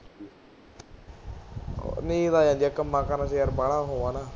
ਨੀਂਦ ਆ ਜਾਂਦੀ ਹੈ, ਕੰਮਾਂ ਕਾਰਾਂ ਚ ਯਾਰ ਬਾਲਾ ਉਹ ਹਾਂ ਨਾ